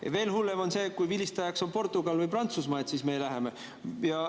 Ja veel hullem on see, kui vilistajaks on Portugal või Prantsusmaa, et siis me läheme.